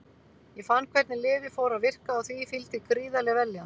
Ég fann hvernig lyfið fór að virka og því fylgdi gríðarleg vellíðan.